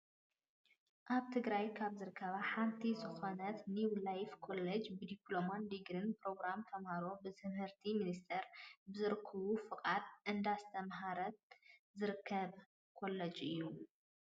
ኣብ ትግራይ ካብ ዝርከባ ሓንቲ ዝኮነት ኒው ላይፍ ኮሌጅ ብድፕሎማን ድግሪን ፕሮግራም ተማሃሮ ብትምህርቲ ሚንስተር ብዝረከቦ ፍቃድ እንዳስተማሃረ ዝርከብ ኮለጅ እዩ።